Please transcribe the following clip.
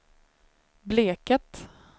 Bleket